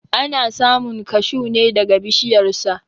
Ana samun kashuw ne daga bishiyar sa.